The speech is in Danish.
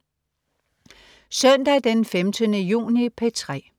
Søndag den 15. juni - P3: